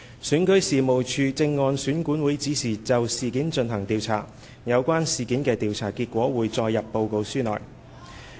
選舉事務處正按選管會指示就事件進行調查，有關事件的調查結果會載入報告書內。